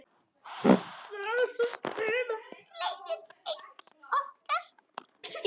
Þessum tíma gleymir enginn okkar.